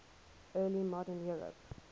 early modern europe